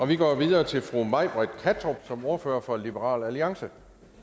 vi går videre til fru may britt kattrup som er ordfører for liberal alliance